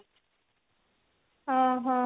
ଓ ହୋ